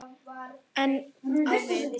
En á vit